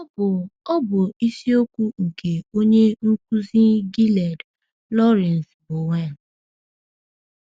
Ọ bụ Ọ bụ isiokwu nke onye nkuzi Gilead, Lawrence Bowen.